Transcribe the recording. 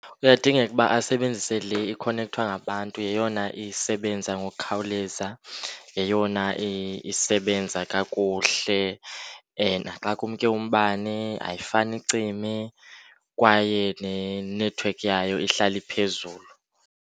Kuyadingeka uba asebenzise le ikhonekthwa ngabantu. Yeyona isebenza ngokukhawuleza, yeyona isebenza kakuhle, and naxa kumke umbane ayifani icime kwaye nenethiwekhi yayo ihlala iphezulu.